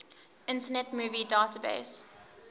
internet movie database